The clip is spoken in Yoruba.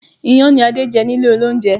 Iyán ni Adé jẹ nílé olóúnjẹ